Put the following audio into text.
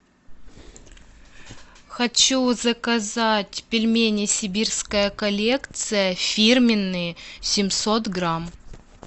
хочу заказать пельмени сибирская коллекция фирменные семьсот грамм